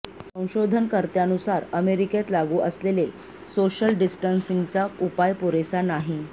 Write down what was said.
संशोधन कर्त्यांनुसार अमेरिकेत लागू असलेले सोशल डिस्टन्सिंगचा उपाय पुरेसा नाही